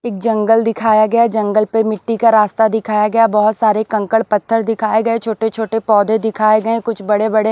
एक जंगल दिखाया गया जंगल पे मिट्टी का रास्ता दिखाया गया बहोत सारे कंकड़ पत्थर दिखाए गए छोटे छोटे पौधे दिखाए गए कुछ बड़े बड़े--